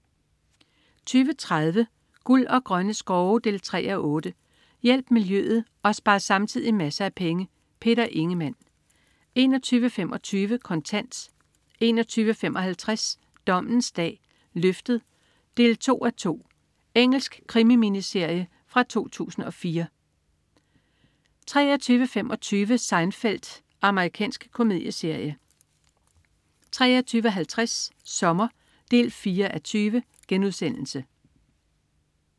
20.30 Guld og grønne skove 3:8. Hjælp miljøet og spar samtidig masser af penge. Peter Ingemann 21.25 Kontant 21.55 Dommens dag: Løftet 2:2. Engelsk krimi-miniserie fra 2004 23.25 Seinfeld. Amerikansk komedieserie 23.50 Sommer 4:20*